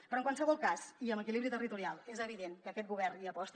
però en qualsevol cas i en equilibri territorial és evident que aquest govern hi aposta